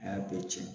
A y'a bɛɛ cɛn